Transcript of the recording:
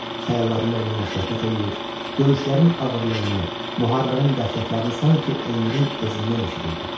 Xəyallarında onunla söhbət eləyir, döyüşlərin ağırlığını, müharibənin dəhşətlərini sanki Elnurun özündən eşidirdi.